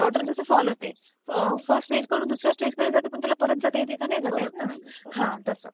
Water कसं fall होते, first stage कडून दुसऱ्या स्टेज कडे जाते पण त्याला परत जाता येते का? नाही जाता येत ना? हां. तसं!